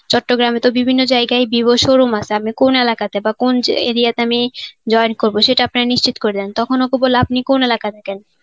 চট্টগ্রামে তো বিভিন্ন জায়গায় বিভোর showroom আছে আপনি কোন এলাকাতে বা কোন area তে আমি join করব সেটা আপনারা নিশ্চিত করে দেন. তখন ওকে বললে আপনি কোন এলাকা থাকেন.